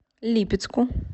липецку